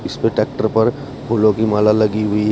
इसमें ट्रैक्टर पर फूलों की माला लगी हुई है।